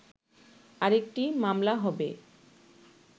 আরেকটি মামলা হবে